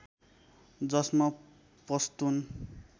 जसमा पस्तुन